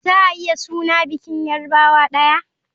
Za a iya suna bikin yarbawa daya.